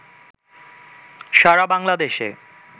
সারা বাংলাদেশে